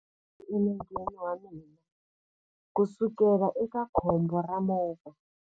Ndzi na xivati enengeni wa mina kusukela eka khombo ra movha.